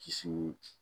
Kiso